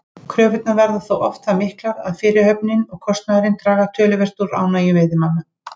Kröfurnar verða þó oft það miklar að fyrirhöfnin og kostnaðurinn draga töluvert úr ánægju veiðimanna.